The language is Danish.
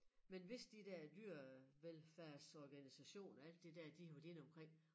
Men hvis de der dyrevelfærdsorganisationer alt det der de har været inde omkring